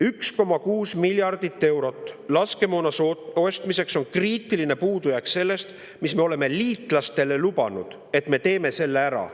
"1,6 miljardit eurot laskemoona ostmiseks on kriitiline puudujääk sellest, mis me oleme liitlastele lubanud, et me teeme selle ära.